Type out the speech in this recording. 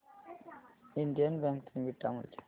Indian bank चे beta मूल्य